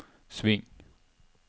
sving